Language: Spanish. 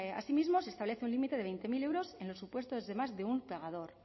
asimismo se establece un límite de veinte mil euros en los supuestos de más de un pagador